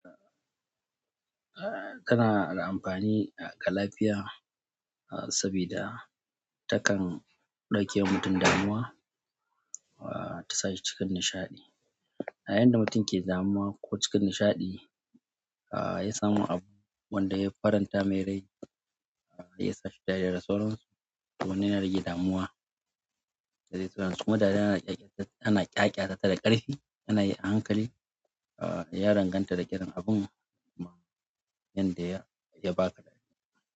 Eh, kana da amfani ga lafiya saboda takan ɗauke wa mutum damuwa, ta sa shi cikin nishaɗi. A yayin da mutum ke damuwa ko cikin nishaɗi, ya samu abu wanda ya faranta mai rai, ya sa shi dariya da sauronsa. Wannan yana rage damuwa da zai so kuma dariya ana ƙyaƙyata tana ƙarfi, ana yi a hankali. Ya danganta da irin abun, wanda ya ba ka dariya.